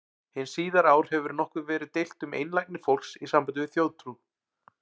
Hin síðari ár hefur nokkuð verið deilt um einlægni fólks í sambandi við þjóðtrú.